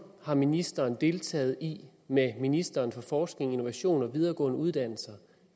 har ministeren deltaget i med ministeren for forskning innovation og videregående uddannelser